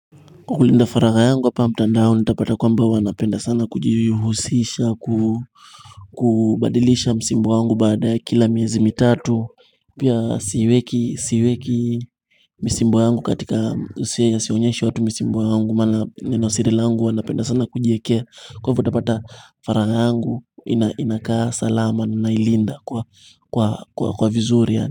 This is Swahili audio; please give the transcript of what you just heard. Kwa kulinda faraga yangu hapa mtandao nitapata kwamba huwa napenda sana kujuhusisha kubadilisha msimbo yangu baada ya kila miezi mitatu pia siweki siweki msimbo yangu katika usia ya sionyesha watu msimbo yangu maana ninosiri langu huwa napenda sana kujiekea kwa hivo utapata faraga yangu inakaa salama na ilinda kwa vizuri ya.